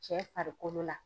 Cɛ farikolo la.